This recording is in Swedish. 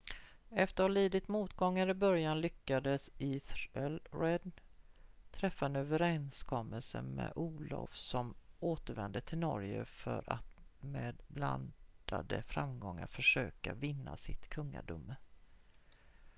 efter att ha lidit motgångar i början lyckades ethelred träffa en överenskommelse med olaf som återvände till norge för att med blandade framgångar försöka vinna sitt kungadöme